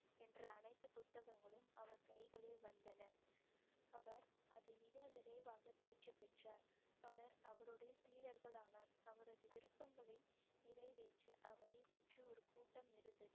என்ற அனைத்து புத்தகங்களும் அவர் கைகளில் வந்தன அவர் அதை மிக விரைவாக தேர்ச்சி பெற்றோர் பலர் அவருடைய சீடர்கள் ஆனார் அவரது விருப்பங்களை நிறைவேற்ற அவரை சுற்றி ஒரு கூட்டம் இருந்தது